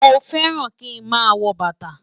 Mọ fẹ́ràn kí mà wọ́ bátà.